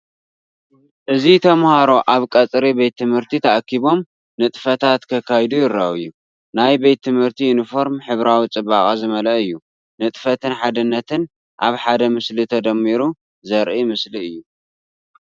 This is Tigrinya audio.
እዚ ተማሃሮ ኣብ ቀጽሪ ቤት ትምህርቲ ተኣኪቦም፡ ንጥፈታት ከካይዱ ይረኣዩ። ናይ ቤት ትምህርቲ ዩኒፎርም ሕብራዊ ጽባቐ ዝመልአ እዩ፤ ንጥፈትን ሓድነትን ኣብ ሓደ ምስሊ ተደሚሩ ዘርኢ ምስሊ እዩ።